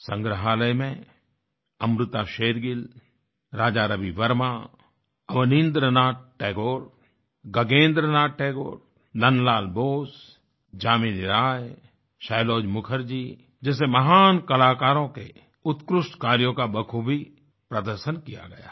संग्रहालय में अमृता शेरगिल राजा रवि वर्मा अवनींद्र नाथ टैगोर गगनेंद्र नाथ टैगोर नंदलाल बोस जामिनी राय सैलोज़ मुखर्जी जैसे महान कलाकारों के उत्कृष्ट कार्यों का बखूबी प्रदर्शन किया गया है